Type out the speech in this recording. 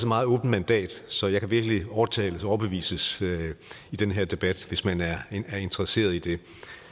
meget åbent mandat så jeg kan virkelig overtales og overbevises i den her debat hvis man er interesseret i det